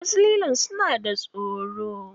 Wasu lilon suna da tsoro.